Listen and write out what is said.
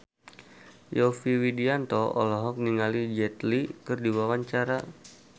Yovie Widianto olohok ningali Jet Li keur diwawancara